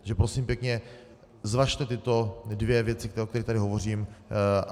Takže prosím pěkně, zvažte tyto dvě věci, o kterých tady hovořím.